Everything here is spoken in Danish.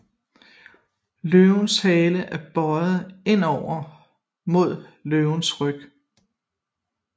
Løvens Hale er bøiet indover mod Løvens Ryg